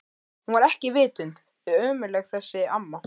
Hún var ekki vitund ömmuleg þessi amma.